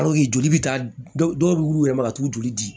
joli bɛ taa dɔw yɛrɛ ma ka t'u joli di